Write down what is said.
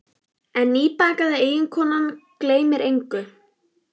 En nýbakaða eiginkonan ólétta gleymir engu.